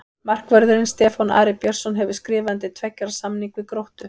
Markvörðurinn Stefán Ari Björnsson hefur skrifað undir tveggja ára samning við Gróttu.